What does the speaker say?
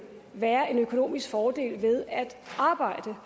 være en økonomisk fordel ved at arbejde